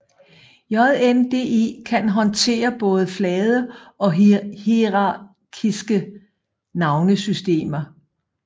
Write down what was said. JNDI kan håndtere både flade og hierarkiske navnesystemer